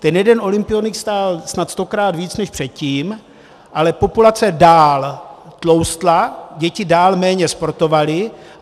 Ten jeden olympionik stál snad stokrát víc než předtím, ale populace dál tloustla, děti dál méně sportovaly.